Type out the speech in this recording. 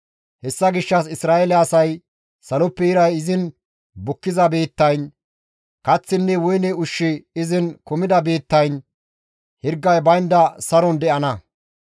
Hessa gishshas Isra7eele asay Saloppe iray izin bukkiza biittayn, kaththinne woyne ushshi izin kumida biittayn hirgay baynda saron de7ana.